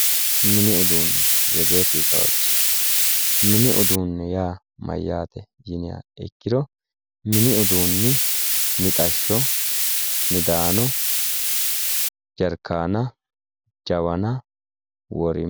Mini uduunne yaa mayyaate? yiniha ikkiro mini uduunni mixashsho midaano jarkaana jawana woleno